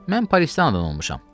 Mən Parisdə anadan olmuşam.